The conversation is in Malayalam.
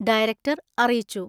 ഡയറക്ടർ അറിയിച്ചു.